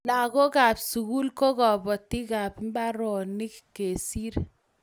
Lakokap sukul ko kapotikap mbaronikap kesir